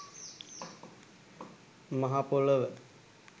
මහ පොළව